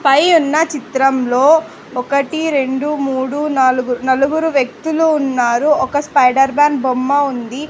పై ఉన్న చిత్రంలో ఒకటి రెండు మూడు నాలుగు నలుగురు వ్యక్తులు ఉన్నారు ఒక స్పైడర్ మ్యాన్ బొమ్మ ఉంది.